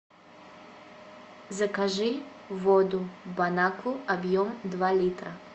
закажи воду бонакву объем два литра